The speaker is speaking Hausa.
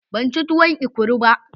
Ban ci tuwon ekuru ba.